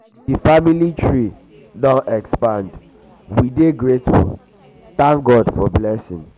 di family tree di family tree don expand we dey grateful thank god for di blessing.